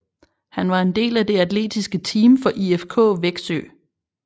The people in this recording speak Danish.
Han var en del af det atletiske team for IFK Växjö